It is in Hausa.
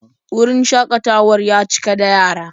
Wurin shakatawar ya cika da yara.